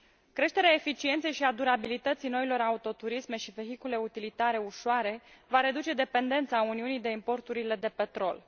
Creșterea eficienței și a durabilității noilor autoturisme și vehicule utilitare ușoare va reduce dependența Uniunii de importurile de petrol.